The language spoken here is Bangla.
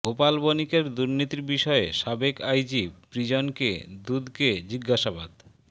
গোপাল বণিকের দুর্নীতির বিষয়ে সাবেক আইজি প্রিজনকে দুদকে জিজ্ঞাসাবাদ